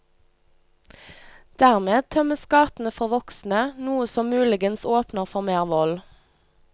Dermed tømmes gatene for voksne, noe som muligens åpner for mer vold.